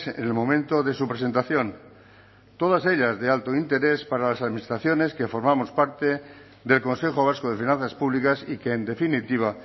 en el momento de su presentación todas ellas de alto interés para las administraciones que formamos parte del consejo vasco de finanzas públicas y que en definitiva